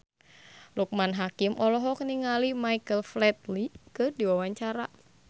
Loekman Hakim olohok ningali Michael Flatley keur diwawancara